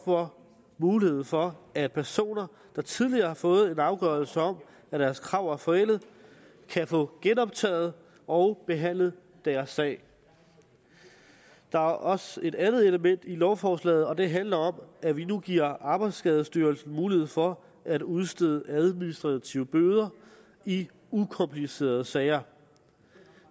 for muligheden for at personer der tidligere har fået en afgørelse om at deres krav er forældet kan få genoptaget og behandlet deres sag der er også et andet element i lovforslaget og det handler om at vi nu giver arbejdsskadestyrelsen mulighed for at udstede administrative bøder i ukomplicerede sager